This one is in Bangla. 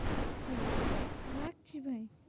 ঠিকাছে রাখছি ভাই।